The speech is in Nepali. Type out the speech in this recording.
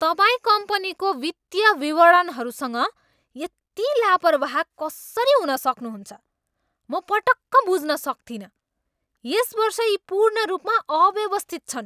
तपाईँ कम्पनीको वित्तीय विवरणहरूसँग यति लापर्बाह कसरी हुन सक्नुहुन्छ, म पटक्क बुझ्न सक्तिनँ। यस वर्ष यी पूर्ण रूपमा अव्यवस्थित छन्।